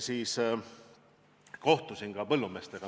Siis kohtusin ka põllumeestega.